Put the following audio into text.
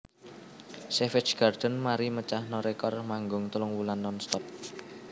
Savage Garden mari mecahno rekor manggung telung wulan nonstop